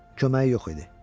Köməyi yox idi.